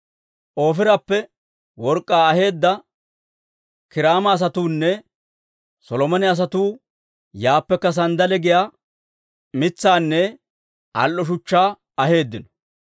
(Ofiirappe work'k'aa aheedda, Kiiraama asatuunne Solomone asatuu yaappekka sanddale giyaa mitsaanne al"o shuchchaa aheeddino.